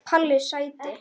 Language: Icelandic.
Palli sæti!!